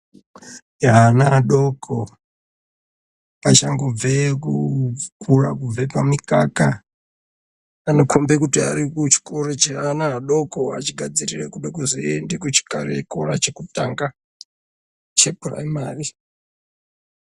Ana adoko achangobve kukura. Kubve pamikaka anokombe kuchikoro cheana adoko achide kuzoende kuchikora chekutanga chepuraimari.